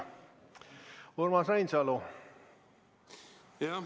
Urmas Reinsalu, palun!